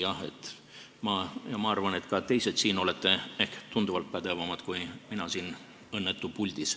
Jah, ma arvan, et ka teised siin on tunduvalt pädevamad kui mina siin, see õnnetu puldis.